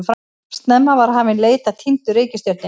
Snemma var hafin leit að týndu reikistjörnunni.